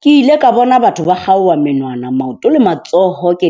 Ke ile ka bona batho ba kgaowa menwana, maoto le matsoho ke .